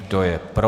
Kdo je pro?